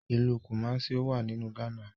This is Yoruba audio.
Ilú Kumasi ọwá nínú Ghana